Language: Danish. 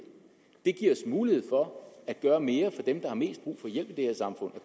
det giver os mulighed for at gøre mere for dem der har mest brug for hjælp i det her samfund